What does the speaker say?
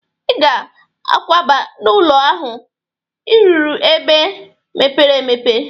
I ga akwaba n'ụnọ ahụ ị rụrụ n'ebe mepere emepe!